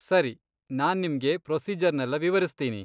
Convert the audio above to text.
ಸರಿ, ನಾನ್ ನಿಮ್ಗೆ ಪ್ರೊಸೀಜರ್ನೆಲ್ಲ ವಿವರಿಸ್ತೀನಿ.